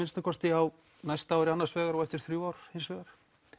á næsta ári annars vegar og eftir þrjú ár hins vegar